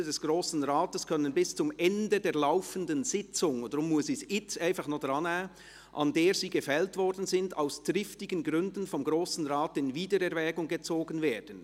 «Beschlüsse des Grossen Rates können bis zum Ende der laufenden Sitzung, an der sie gefällt worden sind», und deshalb muss ich es jetzt gleich noch drannehmen, «aus triftigen Gründen vom Grossen Rat in Wiedererwägung gezogen werden.